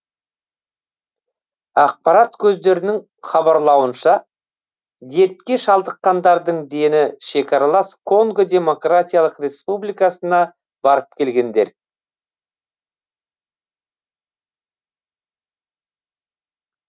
ақпарат көздерінің хабарлауынша дертке шалдыққандардың дені шекаралас конго демократиялық республикасына барып келгендер